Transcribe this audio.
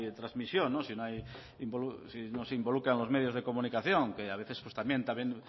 trasmisión si no se involucran los medios de comunicación que a veces pues también